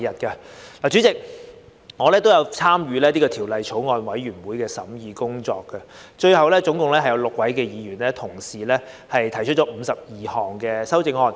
代理主席，我也有參與《條例草案》的法案委員會的工作，最後共有6位議員同事提出52項修正案。